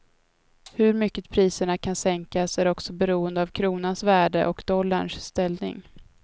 Hur mycket priserna kan sänkas är också beroende av kronans värde och dollarns ställning.